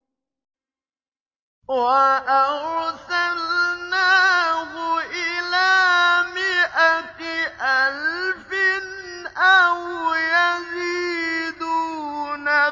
وَأَرْسَلْنَاهُ إِلَىٰ مِائَةِ أَلْفٍ أَوْ يَزِيدُونَ